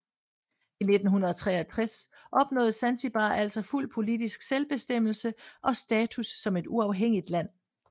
I 1963 opnåede Zanzibar altså fuld politisk selvbestemmelse og status som et uafhængigt land